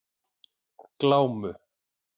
Glámu